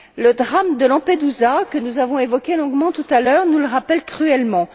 Le drame de Lampedusa, que nous avons évoqué longuement tout à l'heure, nous le rappelle cruellement.